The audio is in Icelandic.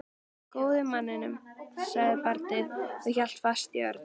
Bara góði manninn, sagði barnið og hélt fast í Örn.